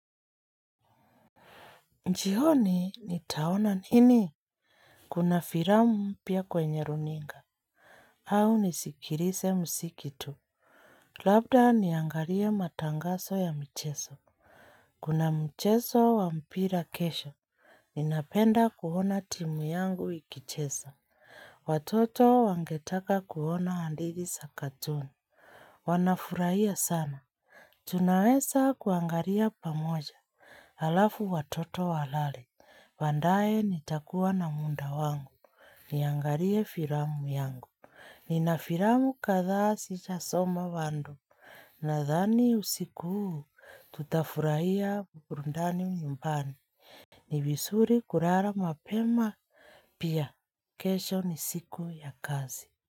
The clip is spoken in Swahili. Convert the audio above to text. Jioni, nitaona nini? Kuna firamu mpya kwenye runinga. Au nisikilise msiki tu. Labda niangarie matangaso ya mcheso. Kuna mcheso wa mpira kesho. Ninapenda kuona timu yangu ikichesa. Watoto wangetaka kuona handithi sa cartoon. Wanafurahia sana. Tunaweza kuangaria pamoja. Halafu watoto walale. Baandae nitakuwa na munda wangu, niangarie firamu yangu, nina firamu kadha sijasoma bando, nadhani usiku huu tutafurahia burundani nyumbani, ni visuri kurara mapema, pia kesho ni siku ya kazi.